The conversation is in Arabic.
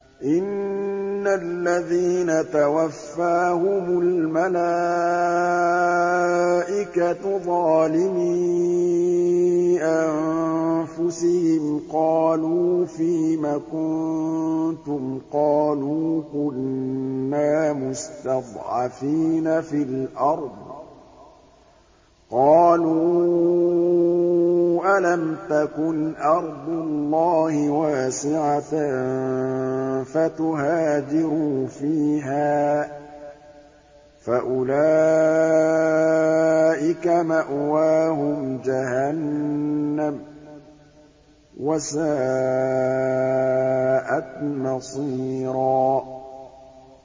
إِنَّ الَّذِينَ تَوَفَّاهُمُ الْمَلَائِكَةُ ظَالِمِي أَنفُسِهِمْ قَالُوا فِيمَ كُنتُمْ ۖ قَالُوا كُنَّا مُسْتَضْعَفِينَ فِي الْأَرْضِ ۚ قَالُوا أَلَمْ تَكُنْ أَرْضُ اللَّهِ وَاسِعَةً فَتُهَاجِرُوا فِيهَا ۚ فَأُولَٰئِكَ مَأْوَاهُمْ جَهَنَّمُ ۖ وَسَاءَتْ مَصِيرًا